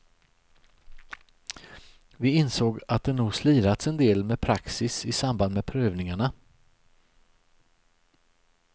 Vi insåg att det nog slirats en del med praxis i samband med prövningarna.